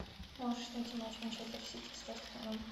можешь найти матч манчестер сити с вест хэмом